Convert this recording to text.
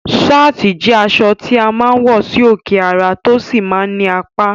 Sáàtì jẹ́ aṣọ tí a máa ń wọ sí òkè ara, tó sì máa ń ní apá